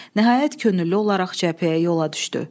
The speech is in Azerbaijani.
Nəhayət könüllü olaraq cəbhəyə yola düşdü.